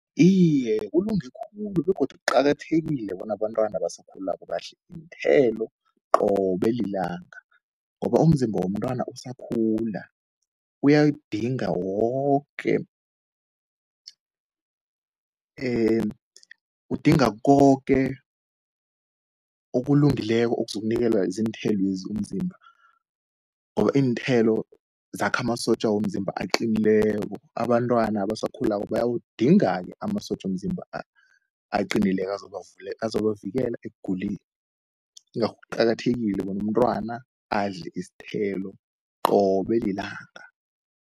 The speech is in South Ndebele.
Iye, kulunge khulu begodu kuqakathekile bona abantwana abasakhulako badle iinthelo qobe lilanga, ngoba umzimba womntwana usakhula uyayidinga woke udinga koke okulungileko okuzokunikelwa ziinthelwezi umzimba. Or iinthelo zakha amasotja womzimba aqinileko, abantwana abasakhulako bayawudinga-ke amasotja womzimba aqinileko azobavikela ekuguleni. Ingakho kuqakathekile bona umntwana adle isithelo qobe lilanga.